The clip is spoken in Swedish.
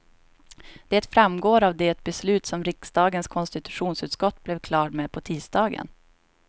Det framgår av det beslut som riksdagens konstitutionsutskott blev klart med på tisdagen.